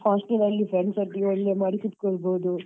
Hostel ಅಲ್ಲಿ friends ಒಟ್ಟಿಗೆ ಒಳ್ಳೆ ಮಾಡಿ ಕುತ್ಕೋಬಹುದು.